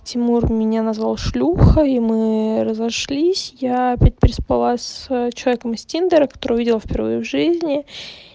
тимур меня назвал шлюхой и мы разошлись я опять переспала с человеком из тиндера которого видела впервые в жизни